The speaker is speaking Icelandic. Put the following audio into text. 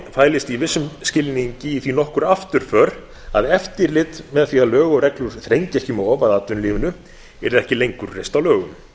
fælist í vissum skilningi í því nokkur afturför að eftirlit með því að lög og reglur þrengi ekki um of að atvinnulífinu yrði ekki lengur reist á lögum